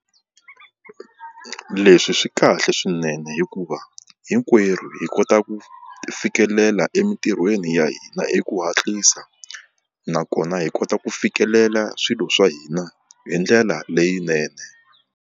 Leswi swi kahle swinene hikuva hinkwerhu hi kota ku fikelela emintirhweni ya hina hi ku hatlisa nakona hi kota ku fikelela swilo swa hina hi ndlela leyinene.